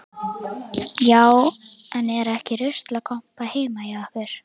Já, er ekki ruslakompa heima hjá ykkur.